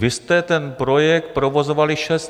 Vy jste ten projekt provozovali šest let.